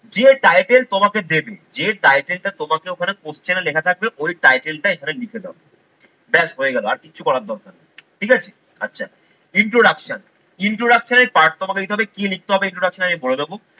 যে title তোমাকে দেবে, যে title টা তোমাকে ওখানে question এ লেখা থাকবে ওই title টা এখানে লিখে দাও ব্যস হয়ে গেল আর কিচ্ছু করার দরকার নেই ঠিক আছে? আচ্ছা introduction, introduction এর part তোমাকে দিতে হবে কি লিখতে হবে introduction আমি বলে দেবো।